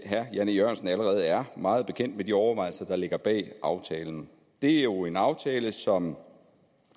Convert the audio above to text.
herre jan e jørgensen allerede er meget bekendt med de overvejelser der ligger bag aftalen det er jo en aftale som